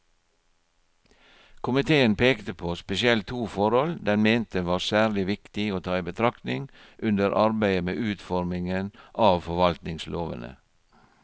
Komiteen pekte på spesielt to forhold den mente var særlig viktig å ta i betraktning under arbeidet med utformingen av forvaltningslovene.